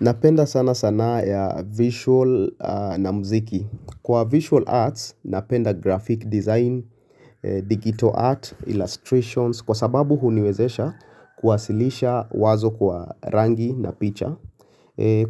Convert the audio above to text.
Napenda sana sanaa ya visual na mziki. Kwa visual arts napenda graphic design, digital art, illustrations kwa sababu huniwezesha kuwasilisha wazo kwa rangi na picha.